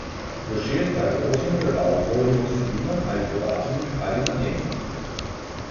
V šest ali osem predalov zložimo vsebino ali po datumih ali namembnosti.